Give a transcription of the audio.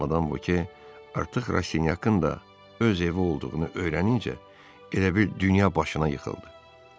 Madam Boke artıq Raşinyakın da öz evi olduğunu öyrənincə elə bil dünya başına yıxıldı.